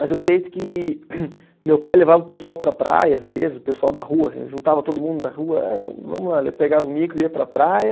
Mas eu sei que meu pai levava o pessoal para a praia, às vezes, o pessoal da rua assim, juntava todo mundo da rua, eh vamos vamos lá, pegava o micro e ia para a praia.